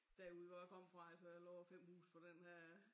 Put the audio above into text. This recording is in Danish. Derude hvor jeg kom fra altså der lå 5 huse på den her